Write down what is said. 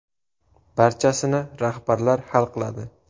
Barchasini rahbarlar hal qiladi.